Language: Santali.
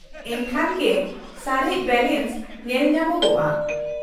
-ᱮᱱᱠᱷᱟᱱ ᱜᱮ ᱥᱟᱨᱮᱡ ᱵᱮᱞᱮᱱᱥ ᱧᱮᱞᱧᱟᱢᱚᱜᱼᱟ ᱾